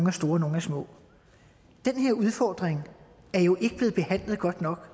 er store nogle er små den her udfordring er jo ikke blevet behandlet godt nok